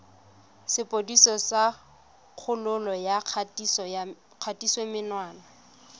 sepodisi sa kgololo ya kgatisomenwa